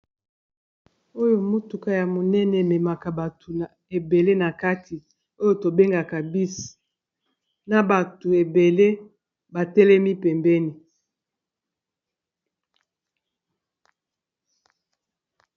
Oyo motuka ya monene ememaka bato na ebele na kati oyo tobengaka bis na bato ebele batelemi pembeni.